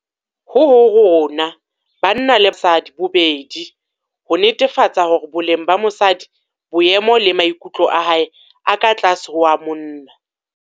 Ho ho rona banna le basadi bobedi - ho netefatsa hore boleng ba mosadi, boemo le maikutlo a hae ha a ka tlase ho a monna.